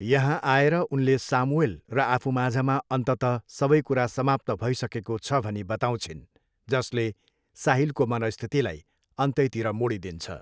यहाँ आएर उनले सामुएल र आफूमाझमा अन्ततः सबै कुरा समाप्त भइसकेको छ भनी बताउँछिन् जसले साहिलको मनस्थितिलाई अन्तैतिर मोडिदिन्छ।